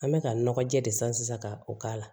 An bɛ ka nɔgɔ jɛ de san sisan ka o k'a la